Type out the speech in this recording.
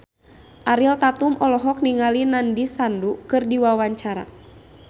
Ariel Tatum olohok ningali Nandish Sandhu keur diwawancara